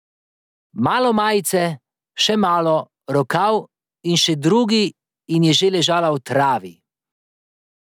Malo majice, še malo, rokav in še drugi in že je ležala v travi.